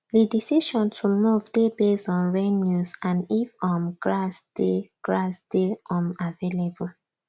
the decision to move dey based on rain news and if um grass dey grass dey um avaliable